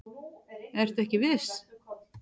Ertu ekki viss?